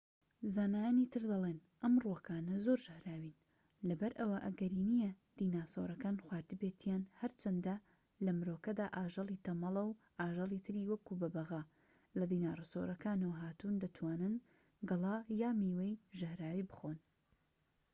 زانایانی تر دەڵێن ئەم ڕووەکانە زۆر ژەهراوین لەبەر ئەوە ئەگەری نیە دیناسۆرەکان خواردبێتیان، هەرچەندە لەمرۆکەدا ئاژەڵی تەمەڵە و ئاژەڵی تری وەکو بەبەغا لە دیناسۆرەکانەوە هاتوون دەتوانن گەڵا یان میوەی ژەهراوی بخۆن